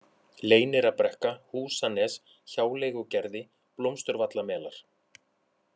Leynirabrekka, Húsanes, Hjáleigugerði, Blómsturvallamelar